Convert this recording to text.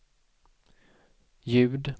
ljud